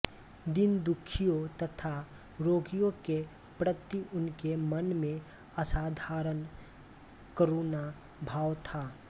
दीनदुखियों तथा रोगियों के प्रति उनके मन में असाधारण करुणा भाव था